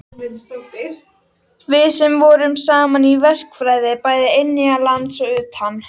Við sem vorum saman í verkfræði bæði innanlands og utan.